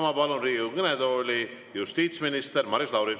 Ma palun Riigikogu kõnetooli justiitsminister Maris Lauri.